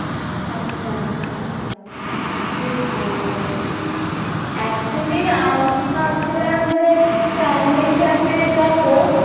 আচ্ছা আচ্ছা বেশ ভালো, actually আমি ভাবছিলাম যে, family র সাথে যাবো